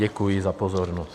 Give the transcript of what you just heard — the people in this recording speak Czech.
Děkuji za pozornost.